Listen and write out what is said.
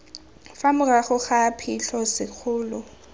fa morago ga phitlho sekolo